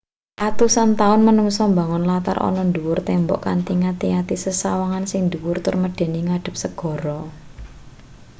atusan taun manungsa mbangun latar ana ndhuwur tembok kanthi ngati-ati sesawangan sing ndhuwur tur medeni ngadhep segara